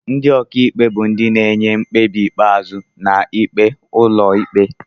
Ndị ọkaikpe bụ ndị na-enye mkpebi ikpeazụ na ikpe ụlọikpe.